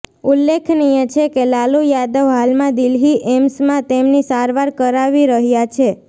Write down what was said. ઉલ્લેખનીય છે કે લાલુ યાદવ હાલમાં દિલ્હી એમ્સમાં તેમની સારવાર કરાવી રહ્યા છે